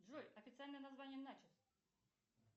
джой официальное название начос